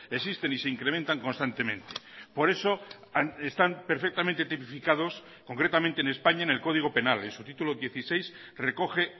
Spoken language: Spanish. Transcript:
existen y se incrementan constantemente por eso están perfectamente tipificados concretamente en españa en el código penal en su título dieciséis recoge